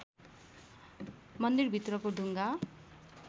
मन्दिरभित्रको ढुङ्गा